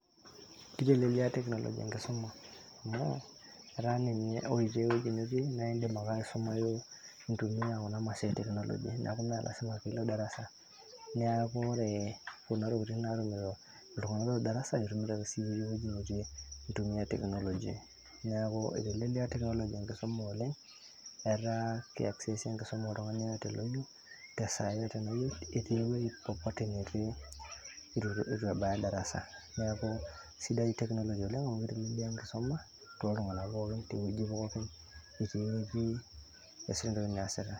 Kitelelia technology enkisuma amu etaa ninye ore itii ewueji nitii niidim ake aisumayu intumia kuna mashinini e teknoloji mee lasima piilo darasa neeku ore kuna tokitin naatumito iltung'anak ootii darasa itumito ake siyie itii ewueji nitii intumia teknoloji, neeku itelelia teknoloji enkisuma oleng' etaa ki access enkisuma oltung'ani [csyeyote oyieu te saa yeyote nayieu etii ewueji popote netii itu ebaya darasa neeku sidai teknoloji oleng' amu ketelelia enkisuma toltung'anak pookin itii enitii iasita eniasita.